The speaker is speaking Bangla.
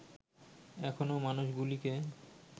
এখনো মানুষগুলিকে